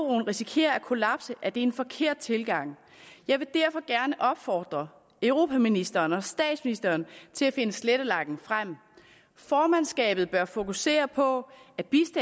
risikerer at kollapse er det en forkert tilgang jeg vil derfor gerne opfordre europaministeren og statsministeren til at finde slettelakken frem formandskabet bør fokusere på